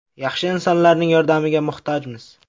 Yaxshi insonlarning yordamiga muhtojmiz.